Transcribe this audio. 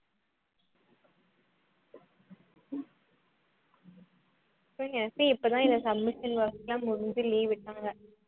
இப்பதான் இந்த submission work லாம் முடிஞ்சு leave விட்டாங்க